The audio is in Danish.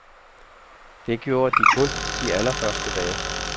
Det gjorde de kun de allerførste dage.